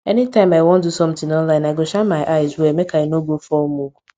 anytime i wan do something online i go shine my eyes well make i no go fall mugu